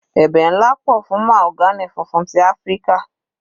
Ẹ̀bẹ̀ nlá pọ̀ fún mahogany funfun ti Áfíríkà.